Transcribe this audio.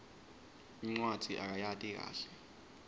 incwadzi akayati kahle